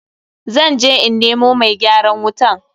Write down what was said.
Zan je in nemo mai gyaran wutan.